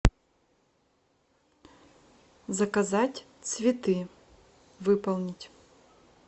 заказать цветы выполнить